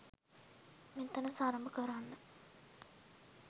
මෙතන සරඹ කරන්න